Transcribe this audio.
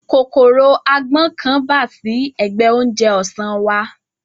Kòkòrò agbọ́n kan bà sí ẹ̀gbẹ oúnjẹ ọ̀sán wa